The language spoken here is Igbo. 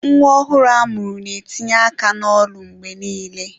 Nwa ọhụrụ a mụrụ na-etinye aka n'ọnụ mgbe niile.